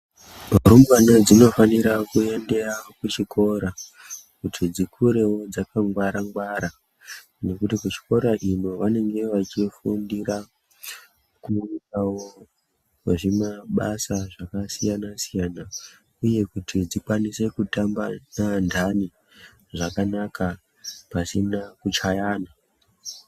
Rumbwana dzinofanira kuenda kuchikora kuti dzikurewo dzakangwara -ngwara, nekuti kuchikora ino vanenge vachifundirawo kuitawo zvimabasa zvakasiyana -siyana, uye kuti dzikwanise kutamba neanthani zvakanaka pasina kuchayana.